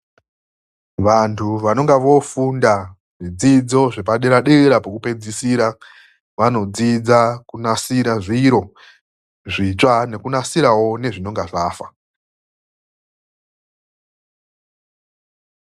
Vantu vanonga vofunda zvidzidzo zvepadera dera pokupedzisira vanodzidza kunasira zviro zvitsva nekunasirawo nezvinonga zvafa.